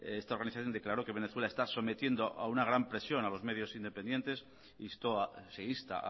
esta organización declaró que venezuela está sometiendo a una gran presión a los medios independientes se insta